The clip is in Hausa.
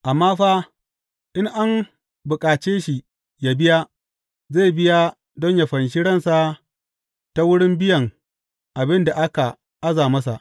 Amma fa, in an bukace shi yă biya, zai biya don yă fanshi ransa ta wurin biyan abin da aka aza masa.